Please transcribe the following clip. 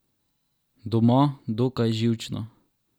Doma, dokaj živčno.